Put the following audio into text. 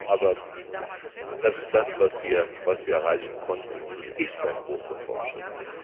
Aber das ist das, was wir erreichen konnten, und es ist ein großer Fortschritt.